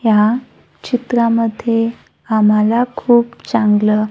ह्या चित्रामध्ये आम्हाला खूप चांगलं--